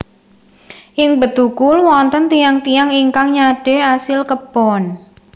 Ing Bedugul wonten tiyang tiyang ingkang nyadé asil kebon